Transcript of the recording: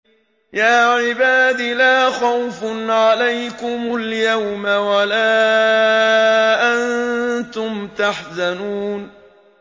يَا عِبَادِ لَا خَوْفٌ عَلَيْكُمُ الْيَوْمَ وَلَا أَنتُمْ تَحْزَنُونَ